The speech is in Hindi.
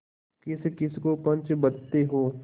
किसकिस को पंच बदते हो